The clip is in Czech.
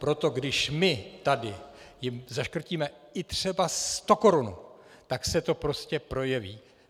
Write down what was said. Proto když my tady jim zaškrtíme i třeba sto korun, tak se to prostě projeví.